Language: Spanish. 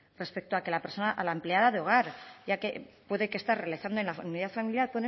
respecto a que la empleada de hogar ya que puede que está realizando en la unidad familiar